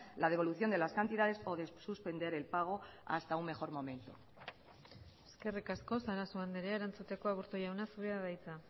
la devolución de las cantidades o de suspender el pago hasta un mejor momento eskerrik asko sarasua andrea erantzuteko aburto jauna zurea da hitza